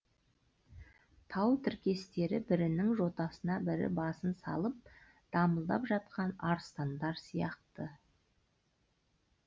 тау тіркестері бірінің жотасына бірі басын салып дамылдап жатқан арыстандар сияқты